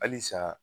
Halisa